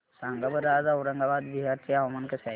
सांगा बरं आज औरंगाबाद बिहार चे हवामान कसे आहे